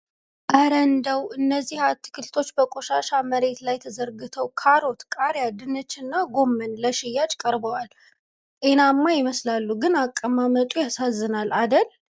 ኧረ እንደው! እነዚህ አትክልቶች በቆሻሻ መሬት ላይ ተዘርግተው! ካሮት፣ ቃሪያ፣ ድንችና ጎመን ለሽያጭ ቀርበዋል! ጤናማ ይመስላሉ፣ ግን አቀማመጡ ያሳዝናል አደል!